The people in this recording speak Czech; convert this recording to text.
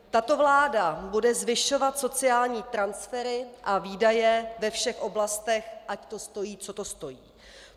Tato vláda bude zvyšovat sociální transfery a výdaje ve všech oblastech, ať to stojí, co to stojí.